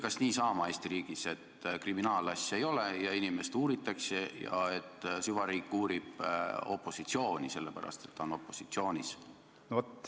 Kas nii hakkab Eesti riigis olema, et kriminaalasja ei ole, aga inimest uuritakse, ja süvariik uurib opositsiooni, sellepärast et ta on opositsioonis?